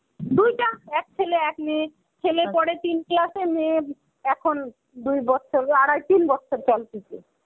দুইটা. এক ছেলে এক মেয়ে. ছেলে পড়ে তিন class এ মেয়ে এখন দুই বতসরের আড়াই তিন বছর চলতেছে.